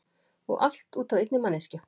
Og allt út af einni manneskju.